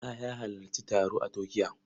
Bala ya halarci taro a Turkiya.